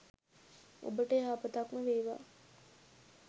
ඔබට යහපතක්ම වේවා.!